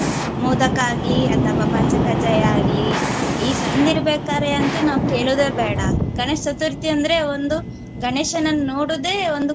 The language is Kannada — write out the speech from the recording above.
ಮೋದಕ ಆಗ್ಲಿ ಅಥವಾ ಪಂಚಕಜ್ಜಾಯ ಆಗ್ಲಿ ಈ ಸಣ್ದಿರ್ಬೇಕಾದ್ರೆ ಅಂತು ನಾವು ಕೇಳೋದೇ ಬೇಡ. ಗಣೇಶ ಚತುರ್ಥಿ ಅಂದ್ರೆ ಒಂದು ಗಣೇಶನನ್ನು ನೋಡುದೆ ಒಂದು.